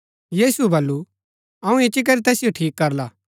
यीशुऐ वलु अऊँ इच्ची करी तैसिओ ठीक करला